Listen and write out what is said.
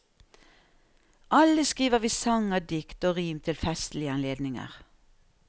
Alle skriver vi sanger, dikt og rim til festlige anledninger.